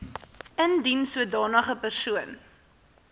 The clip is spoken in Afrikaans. indien sodanige persoon